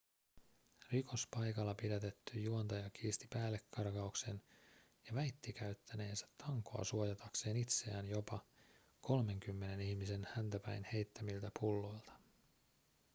rikospaikalla pidätetty juontaja kiisti päällekarkauksen ja väitti käyttäneensä tankoa suojatakseen itseään jopa kolmenkymmenen ihmisen häntä päin heittämiltä pulloilta